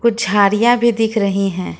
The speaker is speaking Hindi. झाड़ियां भी दिख रही है।